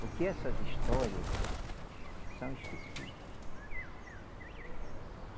Porque essas histórias são esquecida